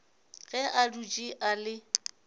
ge a dutše a le